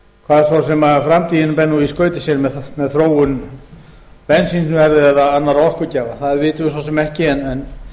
hvað svo sem framtíðin ber svo í skauti sér með þróun bensínverðs og annarra orkugjafa það vitum við svo sem ekki en